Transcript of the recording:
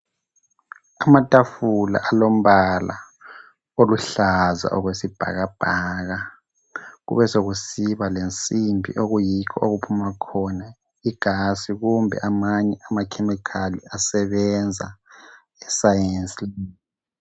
Amathafula alombala oluhlaza okwesibhakabhaka .Kube sokusiba lensimbi okuyikho okuphuma khona igasi kumbe amanye amakhemikhali asebenza esayensi lebhu.